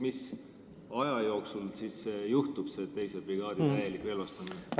Mis aja jooksul siis see juhtub, see teise brigaadi täielik relvastamine?